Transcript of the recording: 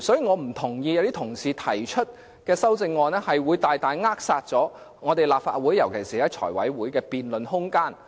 我不認同一些說法，指議員提出的修正案大大扼殺立法會尤其是財委會的辯論空間。